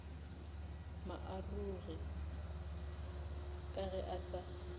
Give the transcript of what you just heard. maarogi ka ge a sa